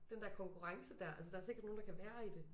Den der konkurrence dér altså der er sikkert nogle der kan være i det